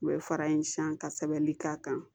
U bɛ fara in san ka sɛbɛnni k'a kan